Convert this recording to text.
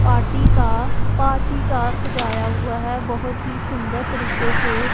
party का party का सजाया हुआ है बहोत ही सुंदर तरीके से--